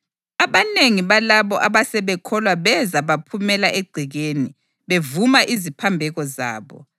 Abanengi balabo abasebekholwa beza baphumela egcekeni, bevuma iziphambeko zabo.